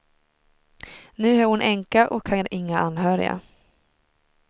Nu är hon änka och har inga anhöriga.